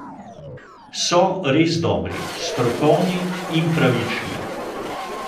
So res dobri, strokovni in pravični.